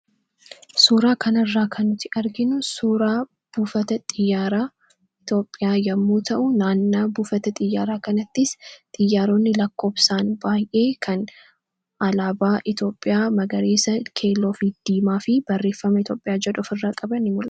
suuraa kanairraa ka nuti arginu suuraa buufata xiyyaaraa itoophiyaa yommuu ta'u naannaa buufata xiyyaaraa kanattis xiyyaaroonni lakkoobsaan baay'ee kan alaabaa iitoophiyaa magariisa keeloo fiddiimaa fi barreeffama iitioophiyaa jedhoof irraa qaban mure